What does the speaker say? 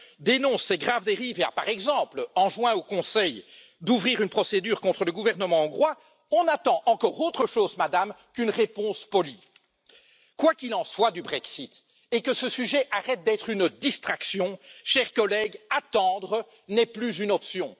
dénonce ces graves dérives et a, par exemple, enjoint au Conseil d'ouvrir une procédure contre le gouvernement hongrois, nous attendons autre chose, Madame, qu'une réponse polie. Quoi qu'il en soit du Brexit et que ce sujet arrête d'être une distraction chers collègues, attendre n'est plus une option.